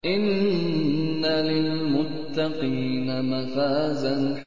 إِنَّ لِلْمُتَّقِينَ مَفَازًا